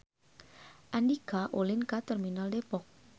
Andika ulin ka Terminal Depok